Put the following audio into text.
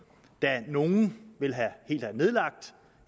da nogle ville have